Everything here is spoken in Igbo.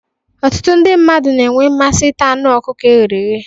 Ọtụtụ ndị mmadụ na-enwe mmasị ita anụ ọkụkọ e ghere eghe